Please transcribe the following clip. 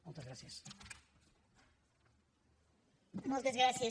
moltes gràcies